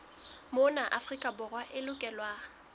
mona afrika borwa e lokelwa